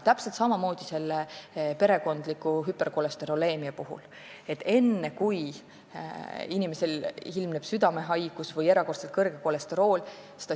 Täpselt samamoodi on perekondliku hüperkolesteroleemiaga: tegutseda tuleb enne, kui inimesel ilmneb südamehaigus või erakordselt kõrge kolesterooli tase.